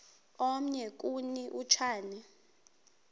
omnye kuni uchane